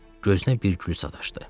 Gözünə bir gül sataşdı.